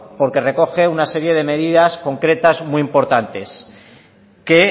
porque recoge una serie de medidas concretas muy importantes que